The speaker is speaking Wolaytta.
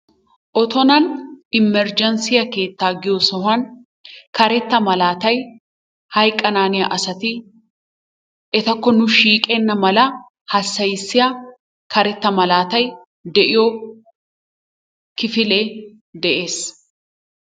Otonan immergenssiya keettaa giyo sohuwan karetta malaatay hayqqanaanniya asati etakko nu shiiqenna mala hassayissiya karetta malaatay de'iyo kifilee de'ees.